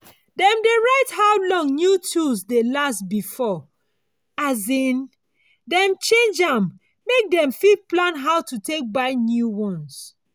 dem diy write how long new tools dey last before um dem change am make dem fit plan how to take buy new ones.